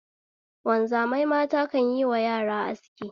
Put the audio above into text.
Wanzamai mata kan yiwa yara aski